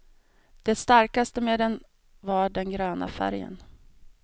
Det starkaste med den var den gröna färgen.